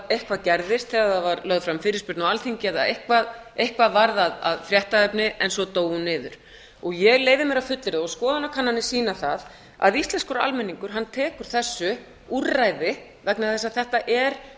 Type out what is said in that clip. eitthvað gerðist þegar það var lögð fram fyrirspurn á alþingi eða eitthvað varð að fréttaefni en svo dó hún niður ég leyfi mér að fullyrða og skoðanakannanir sýna það að íslenskur almenningur tekur þessu úrræði vegna þess að þetta er fyrst